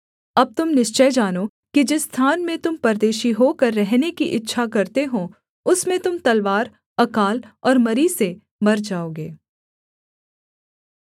अब तुम निश्चय जानो कि जिस स्थान में तुम परदेशी होकर रहने की इच्छा करते हो उसमें तुम तलवार अकाल और मरी से मर जाओगे